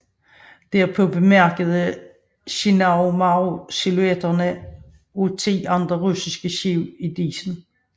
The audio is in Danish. Derpå bemærkede Shinano Maru silhuetterne af ti andre russiske skibe i disen